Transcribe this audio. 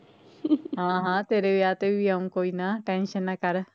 ਹਾਂ ਹਾਂ ਤੇਰੇ ਵਿਆਹ ਤੇ ਵੀ ਆਉ ਕੋਈ tension ਨਾ ਕਰ